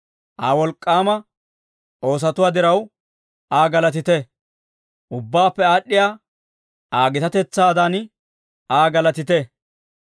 Aa wolk'k'aama oosatuwaa diraw, Aa galatite; ubbaappe aad'd'iyaa Aa gitatetsaadan Aa galatite.